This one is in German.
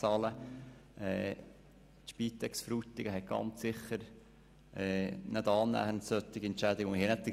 Die Spitex Frutigen richtet ganz sicher nicht annähernd so hohe Entschädigungen aus.